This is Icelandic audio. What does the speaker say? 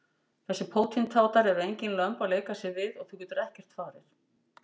Þessir pótintátar eru engin lömb að leika sér við og þú getur ekkert farið.